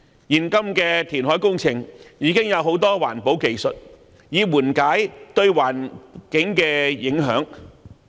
現今的填海工程已有多項環保技術緩解對環境的影響。